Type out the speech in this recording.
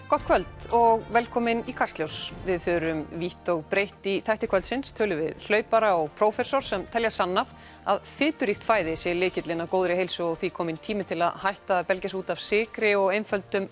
gott kvöld og velkomin í Kastljós við förum vítt og breitt í þætti kvöldsins tölum við hlaupara og prófessor sem telja sannað að fituríkt fæði sé lykillinn að góðri heilsu og því kominn tími til að hætta að belgja sig út af sykri og einföldum